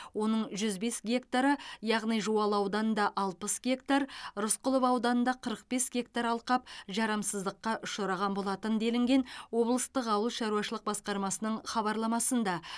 оның жүз бес гектары яғни жуалы ауданында алпыс гектар рысқұлов ауданында қырық бес гектар алқап жарамсыздыққа ұшыраған болатын делінген облыстық ауыл шаруашылық басқармасының хабарламасында